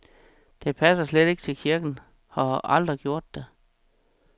Det passer slet ikke til kirken og har aldrig gjort det.